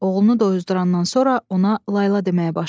Oğlunu doyuzdurandan sonra ona layla deməyə başladı.